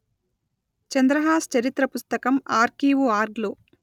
చంద్రహాస్ చరిత్ర పుస్తకం ఆర్కీవుఆర్గ్ లో